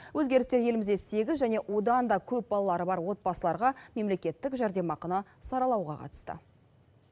өзгерістер елімізде сегіз және одан да көп балалары бар отбасыларға мемлекеттік жәрдемақыны саралауға қатысты